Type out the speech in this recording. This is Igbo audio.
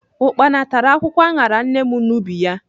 Ukpana tara akwụkwọ aṅara nne n'ubi ya.